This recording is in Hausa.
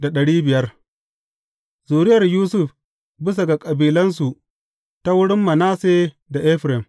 Zuriyar Yusuf bisa ga kabilansu ta wurin Manasse da Efraim.